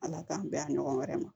Ala k'an bɛn a ɲɔgɔn wɛrɛ ma